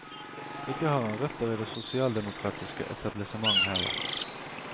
Ikke har han røtter i det sosialdemokratiske etablissement, heller.